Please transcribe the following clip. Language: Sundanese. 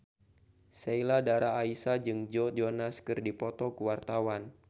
Sheila Dara Aisha jeung Joe Jonas keur dipoto ku wartawan